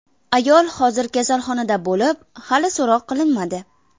Ayol hozir kasalxonada bo‘lib, hali so‘roq qilinmadi.